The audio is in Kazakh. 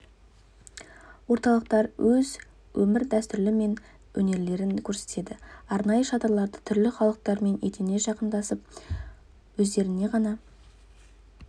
орталықтар өз өмір дәстүрлері мен өнерлерін көрсетеді арнайы шатырларда түрлі халықтармен етене жақындасып өздеріне ғана